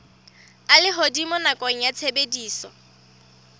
a lehodimo nakong ya tshebediso